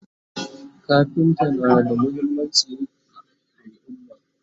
kafinta na da muhimmanci a alumma